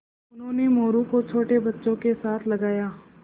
उन्होंने मोरू को छोटे बच्चों के साथ लगाया